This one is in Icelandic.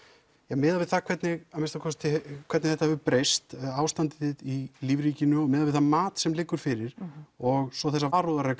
miðað við hvernig að minnsta kosti hvernig þetta hefur breyst ástandið í lífríkinu og miðað við það mat sem liggur fyrir og svo þessa varúðarreglu